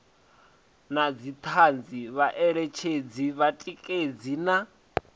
na dzithanzi vhaeletshedzi vhatikedzi na